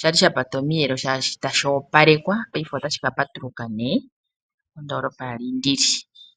shali shapata omiyelo sho kwali tashi opalwekwa. Peife otashi kapatuluka nee.